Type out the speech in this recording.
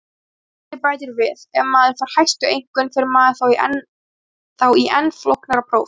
Spyrjandi bætir við: Ef maður fær hæstu einkunn, fer maður þá í enn flóknara próf?